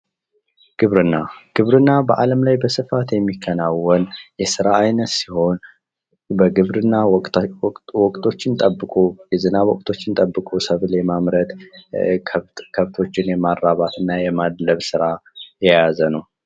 ግብርና:- ግብርና በአለም ላይ በስፋት የሚከናወን የስራ አይነት ሲሆን በግብር ወቅቶችን ጠብቆ የዝናብ ወቅቶችን ጠብቆ ሰብል የማምረት ከብቶችን የማራባት እና የማድለብ ስራ የያዘ ነዉ።